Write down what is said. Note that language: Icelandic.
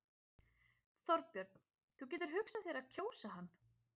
Þorbjörn: Þú getur hugsað þér að kjósa hann?